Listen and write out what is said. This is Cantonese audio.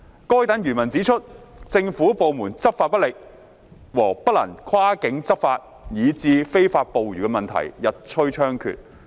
該等漁民指出，政府部門執法不力和不能跨境執法，以致非法捕魚問題日趨猖獗。